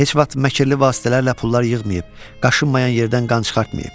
Heç vaxt məkirli vasitələrlə pullar yığmayıb, qaşınmayan yerdən qan çıxartmayıb.